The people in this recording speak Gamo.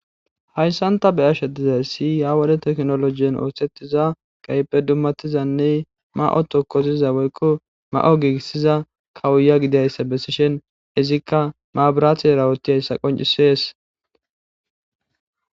hayssan ta be7ashe dizayssi ya wode teknologen oosettiza gaype dummatizanne ma7o tokkoziza woykko ma7o giigissiza kawuya gidayssa bessishen izikka maaburaati erawoti hayssa qoncisees